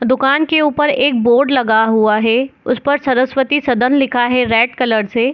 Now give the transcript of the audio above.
दुकान के ऊपर एक बोर्ड लिखा है उस पर सरस्वती सदन लिखा है रेड कलर से।